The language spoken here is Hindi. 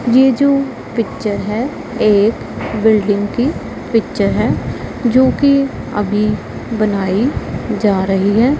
ये जो पिक्चर है एक बिल्डिंग की पिक्चर है जोकि अभी बनाई जा रही है।